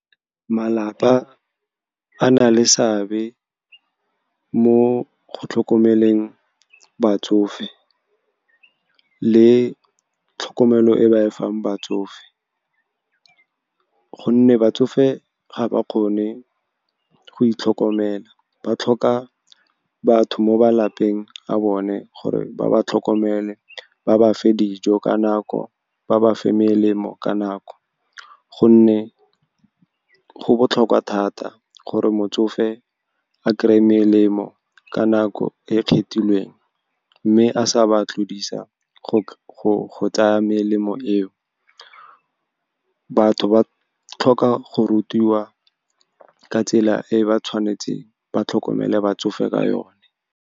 Malapa a na le seabe mo go tlhokomeleng batsofe le tlhokomelo e ba e fang batsofe, gonne batsofe ga ba kgone go itlhokomela. Ba tlhoka batho mo malapeng a bone gore ba ba tlhokomele, ba ba fe dijo ka nako, ba ba fa melemo ka nako, gonne go botlhokwa thata gore motsofe a kry-e melemo ka nako e kgethilweng, mme a sa ba tlodisa go tsaya melemo eo. Batho ba tlhoka go rutiwa ka tsela e ba tshwanetseng ba tlhokomele batsofe ka yone.